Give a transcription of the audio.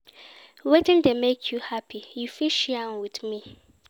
Wetin dey make you happy, you fit share with me.